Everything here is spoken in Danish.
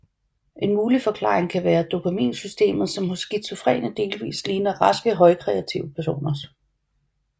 En mulig forklaring kan være dopaminsystemet som hos skizofrene delvist ligner raske højkreative personers